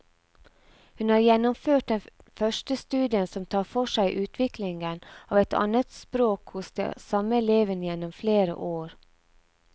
Hun har gjennomført den første studien som tar for seg utviklingen av et annetspråk hos de samme elevene gjennom flere år.